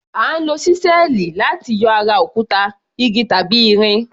À ń lo ṣísẹ́ẹ̀lì láti yọ ara òkúta, igi tàbí irin.